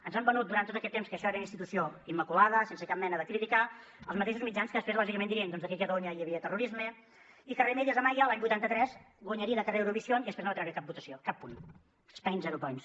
ens han venut durant tot aquest temps que això era una institució immaculada sense cap mena de crítica els mateixos mitjans que després lògicament dirien doncs que aquí a catalunya hi havia terrorisme i que remedios amaya l’any vuitanta tres guanyaria de carrer eurovisión i després no va treure cap punt spain zero points